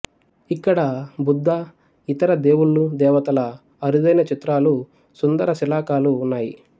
ఇక్కడ బుద్ధ ఇతర దేవుళ్ళు దేవతల అరుదైన చిత్రాలు సుందర శిలాకాలు ఉన్నాయి